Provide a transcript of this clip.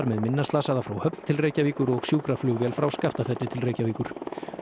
með minna slasaða frá Höfn til Reykjavíkur og sjúkraflugvél frá Skaftafelli til Reykjavíkur